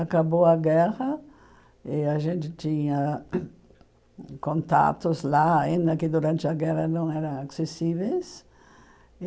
Acabou a guerra e a gente tinha contatos lá, ainda que durante a guerra não eram acessíveis.